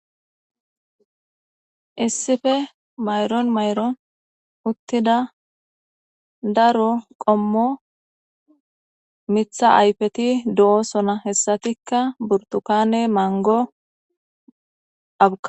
issife mayron mayroon uttida daro qommo mitha ayfeti do7o sona hessatikka burtukane mango aba